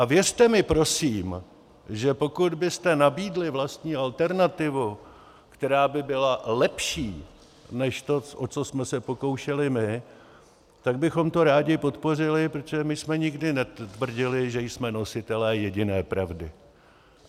A věřte mi prosím, že pokud byste nabídli vlastní alternativu, která by byla lepší než to, o co jsme se pokoušeli my, tak bychom to rádi podpořili, protože my jsme nikdy netvrdili, že jsme nositelé jediné pravdy.